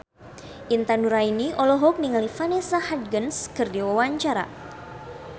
Intan Nuraini olohok ningali Vanessa Hudgens keur diwawancara